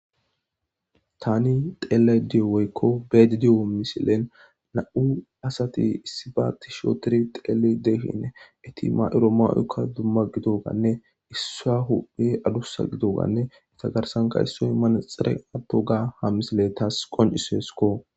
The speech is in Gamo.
Tani xeele di7oweykko beedi di7o misilen na7u asati issibaatti shootiri xeele deehinne eti ma7iro ma7uykka dumma gido ganne issa huphe adussa gido ganne ita garsanka issoy manaxxere atto ga ha misile taas qoncisesko.